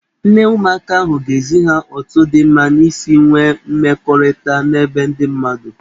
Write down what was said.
Nne ụmụaka ahụ ga-ezi ha otu dị mma isi nwee mmekọrịta n'ebe ndị mmadụ.